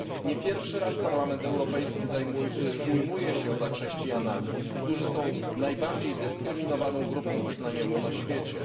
Nie pierwszy raz Parlament Europejski ujmuje się za chrześcijanami, którzy są najbardziej dyskryminowaną grupą wyznaniową na świecie.